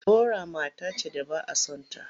Bora mata ce da ba a son ta.